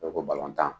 ko balontan